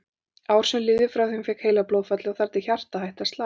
Ár sem liðu frá því hún fékk heilablóðfallið og þar til hjartað hætti að slá.